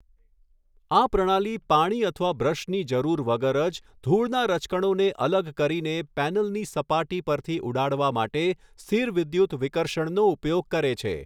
આ પ્રણાલી પાણી અથવા બ્રશની જરૂર વગર જ ધૂળનાં રજકણોને અલગ કરીને પૅનલની સપાટી પરથી ઉડાડવા માટે સ્થિરવિદ્યુત વિકર્ષણનો ઉપયોગ કરે છે.